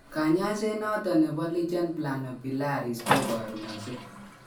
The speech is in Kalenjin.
Kanyaiset noton nebo LPP kobarunaksei